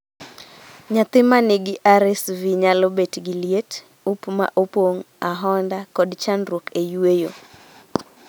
Nyathi ma nigi RSV nyalo bet gi liet, up ma opong', ahonda, kod chandruok e yueyo